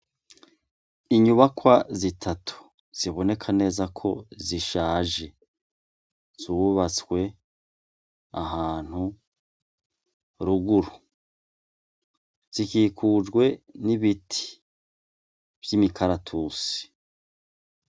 Inyubakwa zitatu ziboneka neza ko zishaje zubatswe ahantu ruguru zikikujwe n'ibiti vy'imikaratusi.